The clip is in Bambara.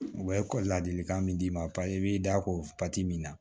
U bɛ ekɔli ladilikan min d'i ma i b'i da ko pati min na